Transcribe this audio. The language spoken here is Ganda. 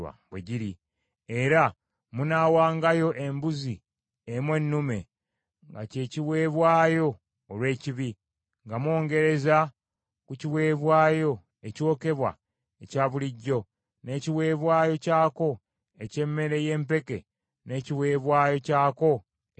Era munaawangayo embuzi emu ennume, nga kye kiweebwayo olw’ekibi, nga mwongerereza ku kiweebwayo ekyokebwa ekya bulijjo n’ekiweebwayo kyako eky’emmere y’empeke n’ekiweebwayo kyako ekyokunywa.